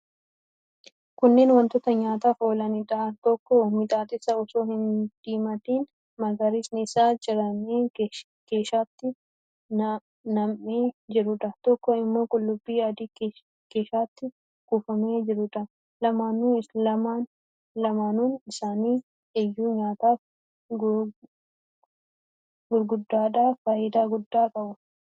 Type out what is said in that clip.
Kunneen wantoota nyaataaf oolaniidha. Tokko mixmixa osoo hin diimatin magariisni isaa ciramee keeshaatti nam'ee jiruudha. Tokko immoo qullubbii adii keeshaatti kuufamee jiruudha. Lamaanuun isaanii iyyuu nyaataaf, gurgurtaadhaaf faayidaa guddaa qabu.